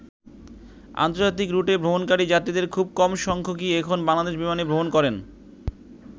আন্তর্জাতিক রুটে ভ্রমণকারী যাত্রীদের খুব কম সংখ্যকই এখন বাংলাদেশ বিমানে ভ্রমণ করেন।